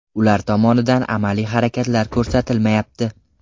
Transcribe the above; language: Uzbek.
Ular tomonidan amaliy harakatlar ko‘rsatilmayapti.